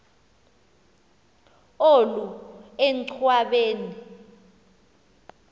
olu enchwa beni